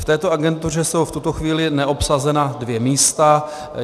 V této agentuře jsou v tuto chvíli neobsazena dvě místa.